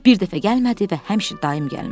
Bir dəfə gəlmədi və həmişə daim gəlmədi.